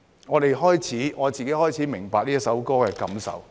我自己開始明白這首歌的意義。